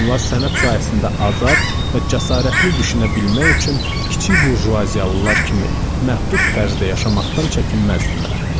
Onlar sənət sahəsində azad və cəsarətli düşünə bilmək üçün kiçik burjuaziyalılar kimi məhdud tərzdə yaşamaqdan çəkinməzdilər.